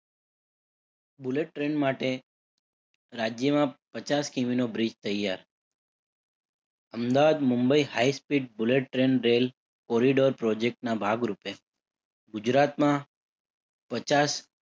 Bullet train માટે રાજ્યમાં પચાસ કિમીનો bridge તૈયાર. Ahmedabad, Mumbai, highspeed bullet train rail corridor project ના ભાગરૂપે ગુજરાતમાં પચાસ